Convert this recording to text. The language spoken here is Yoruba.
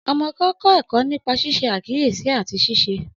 Ọmọ kan kọ ẹkọ nipa ṣiṣe akiyesi ati ṣiṣe.